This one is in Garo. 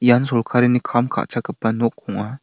ian sorkarini kam ka·chakgipa nok ong·a.